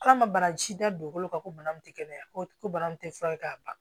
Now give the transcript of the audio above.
K'a ma banasi da dugukolo kan ko bana min tɛ kɛnɛya ko bana min tɛ fura ye k'a ban